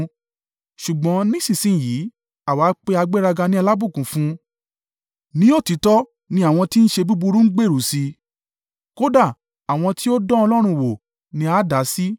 Ṣùgbọ́n ní ìsinsin yìí àwa pé agbéraga ni alábùkún fún. Ní òtítọ́ ni àwọn ti ń ṣe búburú ń gbèrú sí i, kódà àwọn ti ó dán Ọlọ́run wò ni a dá sí.’ ”